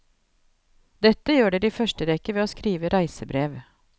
Dette gjør dere i første rekke ved å skrive reisebrev.